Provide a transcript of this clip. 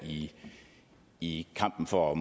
i kampen for at